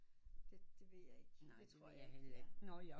Det det ved jeg ikke